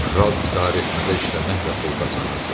Kral idarəetmədə işləməklə pul qazanırdı.